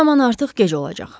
O zaman artıq gec olacaq.